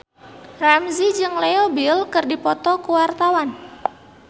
Ramzy jeung Leo Bill keur dipoto ku wartawan